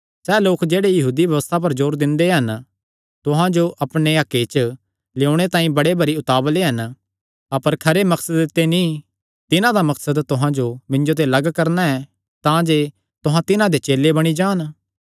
सैह़ लोक जेह्ड़े यहूदी व्यबस्था पर जोर दिंदे हन तुहां जो अपणे हक्के च लेयोणे तांई बड़े भरी उतावल़े हन अपर खरे मकसदे ते नीं तिन्हां दा मकसद तुहां जो मिन्जो ते लग्ग करणा ऐ तांजे तुहां तिन्हां दे चेले बणी जान